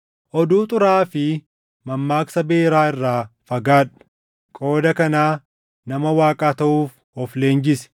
Oduu xuraaʼaa fi mammaaksa beeraa irraa fagaadhu; qooda kanaa nama Waaqaa taʼuuf of leenjisi.